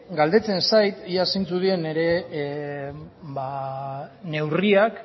galdetzen zait ia zeintzuk diren nire neurriak